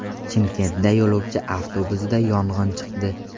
Chimkentda yo‘lovchi avtobusida yong‘in chiqdi .